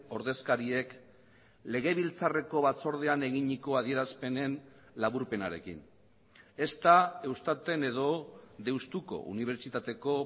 ordezkariek legebiltzarreko batzordean eginiko adierazpenen laburpenarekin ezta eustaten edo deustuko unibertsitateko